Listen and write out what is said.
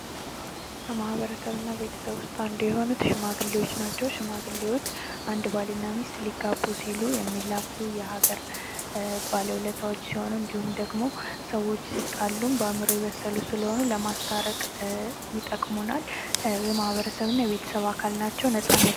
ከማህበረሰብ እና ቤተሰብ ዉስጥ አንዱ የሆኑትየሆኑት ሽማግሌዎች ናቸዉ። ሽማግሌዎች አንድ ባል እና ሚስት ሊጋቡ ሲሉ የሚላኩ የሀገር ባለዉለታዎች ሲሆኑ እንዲሁም ደግሞ ሰዎች ሲጣሉ በአእምሮ የበሰሉ ስለሆኑ ለማስታረቅ ይጠቅሙናል።